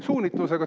… suunitlusega.